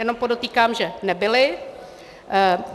Jenom podotýkám, že nebyly.